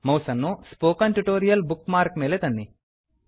ಮೌಸನ್ನು spoken tutorial bookmark ನ ಮೇಲೆ ತನ್ನಿ